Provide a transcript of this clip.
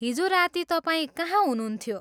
हिजो राती तपाईँ कहाँ हुनुहुन्थ्यो?